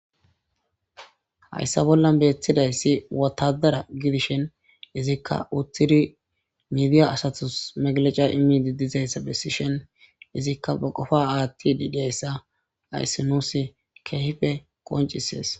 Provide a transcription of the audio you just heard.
Hayssa bollan beetthidayssi wotadara gidishin izikka uttiri miidiya asatus megleca imiidi dizayssa bessi shen izikka ba qofa aathti di deyssa ayssi nuusi keehfe qoncisees.